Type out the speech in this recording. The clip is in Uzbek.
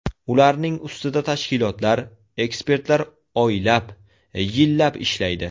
Ularning ustida tashkilotlar, ekspertlar oylab, yillab ishlaydi.